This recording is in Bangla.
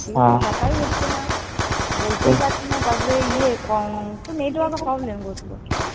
দিয়ে কথাই হচ্ছেনা। বলতেই পারছেনা। তারপরে ইয়ে খুব network এর problem করছিল।